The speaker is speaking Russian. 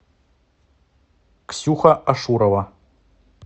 ксюха ашурова